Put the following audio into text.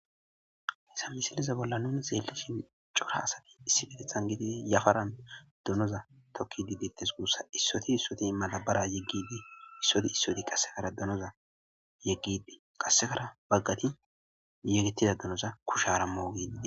haysa misiliza bolla nuni zeelli shin cora asati issi bedethan gididi yafaran dunoza tokki didittes guussa issoti issoti malabara yeggidi issoti issoti qassekara dunoza yeggidi qassekara baggati yegittida dunoza kushara mugididi